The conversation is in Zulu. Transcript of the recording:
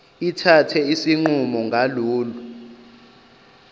ithathe isinqumo ngalolu